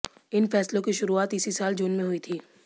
इन फैसलों की शुरुआत इसी साल जून में हुई थी